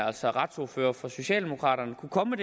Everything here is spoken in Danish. altså retsordfører for socialdemokraterne kunne komme